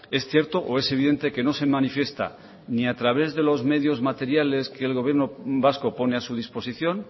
es cierto o es evidente que no se manifiesta ni a través de los medios materiales que el gobierno vasco pone a su disposición